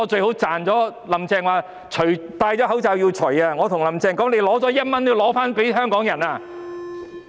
"林鄭"說口罩戴上了也要摘下來，但我想對"林鄭"說：你拿了1元也要還給香港人。